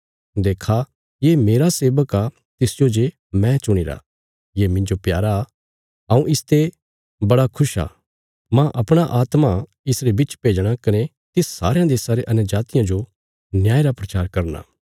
देक्खा ये मेरा सेबक आ तिसजो जे मैं चुणीरा ये मिन्जो प्यारा हऊँ इसते बड़ा खुश आ मांह अपणा आत्मा इसरे बिच भेजणा कने तिस सारयां देशां रे अन्यजातियां जो न्याय रा प्रचार करना